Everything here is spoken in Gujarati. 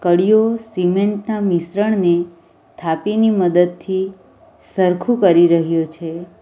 કળિયો સિમેન્ટ ના મિશ્રણને થાપી ની મદદથી સરખું કરી રહયો છે.